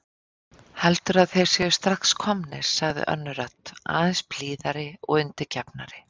Heldurðu að þeir séu strax komnir sagði önnur rödd, aðeins blíðari og undirgefnari.